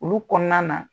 Olu kɔnɔna na